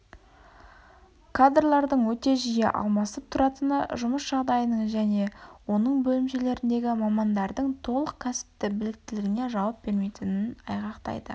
кадрлардың өте жиі алмасып тұратыны жұмыс жағдайының және оның бөлімшелеріндегі мамандардың толық кәсіптік біліктілігіне жауап бермейтінін айғақтайды